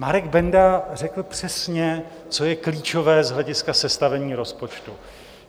Marek Benda řekl přesně, co je klíčové z hlediska sestavení rozpočtu.